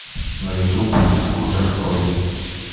на ютуб скутер ой